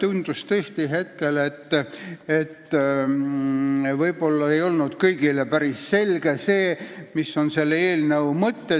Mulle tundus tõesti, et võib-olla kõigile ei ole päris selge, mis on selle eelnõu mõte.